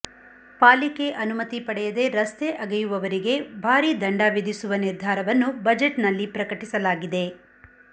ಪಾಲಿಕೆ ಅನುಮತಿ ಪಡೆಯದೆ ರಸ್ತೆ ಅಗೆಯುವವರಿಗೆ ಭಾರಿ ದಂಡ ವಿಧಿಸುವ ನಿರ್ಧಾರವನ್ನು ಬಜೆಟ್ನಲ್ಲಿ ಪ್ರಕಟಿಸಲಾಗಿದೆ